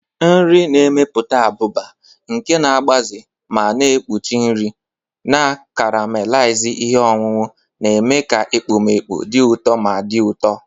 Nri na-emepụta abụba, nke na-agbaze ma na-ekpuchi nri, na caramelizing ihe ọṅụṅụ, na-eme ka ekpomeekpo dị ụtọ ma dị ụtọ.